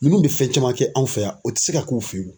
Ninnu bɛ fɛn caman kɛ anw fɛ yan o tɛ se ka k'u fɛ yen.